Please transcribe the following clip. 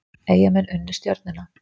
Eyjamenn unnu Stjörnuna